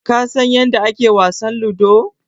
Ka san yanda ake wasan Ludo?